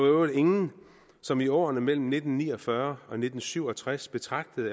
øvrigt ingen som i årene mellem nitten ni og fyrre og nitten syv og tres betragtede